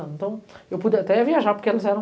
Então eu pude até viajar, porque elas eram...